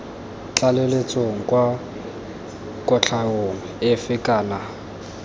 tlaleletsong kwa kotlhaong efe kana